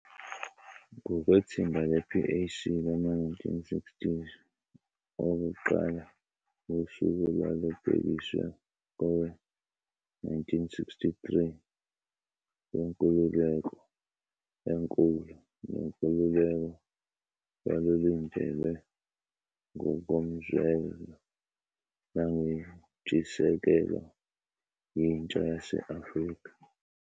Ngokwethimba le-PAC lama-1960s okuqala, usuku olwalubhekiswe kowe-1963 lwenkululeko enkulu nenkululeko lwalulindelwe ngokomzwelo nangenshisekelo yintsha yase-Afrika.